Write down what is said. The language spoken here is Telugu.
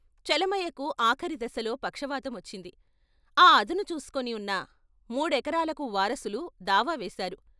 చలమయ్యకు ఆఖరి దశలో పక్షవాతం వచ్చింది ఆ అదను చూసుకొని ఉన్న మూడెకరాలకు వారసులు దావా వేశారు.